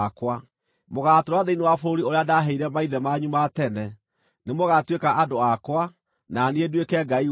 Mũgaatũũra thĩinĩ wa bũrũri ũrĩa ndaaheire maithe manyu ma tene; nĩmũgatuĩka andũ akwa, na niĩ nduĩke Ngai wanyu.